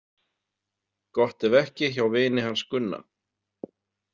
Gott ef ekki hjá vini hans Gunna.